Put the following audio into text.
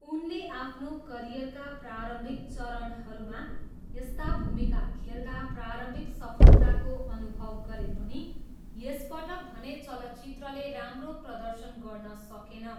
उनले आफ्नो करियरका प्रारम्भिक चरणहरूमा यस्ता भूमिका खेल्दा प्रारम्भिक सफलताको अनुभव गरे पनि, यसपटक भने चलचित्रले राम्रो प्रदर्शन गर्न सकेन।